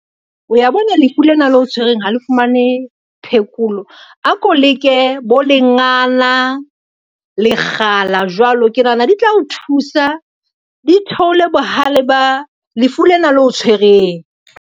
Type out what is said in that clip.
O ya bona lefu lena leo tshwereng ha le fumane phekolo. A ko leke bo lengana, lekgala jwalo, e nahana di tla o thusa di theole bohale ba lefu lena leo o tshwereng.